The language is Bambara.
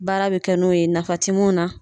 Baara bɛ kɛ n'o ye nafa ti mun na.